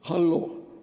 Halloo!